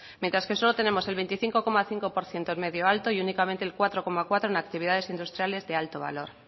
mientras que solo tenemos el veinticinco coma cinco por ciento en medio alto y únicamente el cuatro coma cuatro en actividades industriales de alto valor